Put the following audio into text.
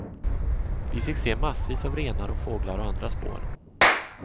Vi fick se massvis av renar och fåglar och andra spår.